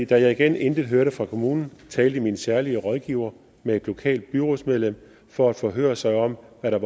da jeg igen intet hørte fra kommunen talte min særlige rådgiver med et lokalt byrådsmedlem for at forhøre sig om hvad der